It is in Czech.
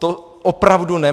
To opravdu ne!